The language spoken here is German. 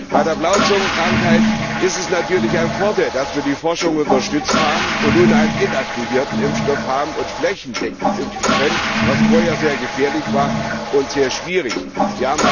Bei der Blauzungenkrankheit ist es natürlich ein Vorteil, dass wir die Forschung unterstützt haben und nun einen inaktivierten Impfstoff haben und flächendeckend impfen können, was vorher sehr gefährlich und sehr schwierig war.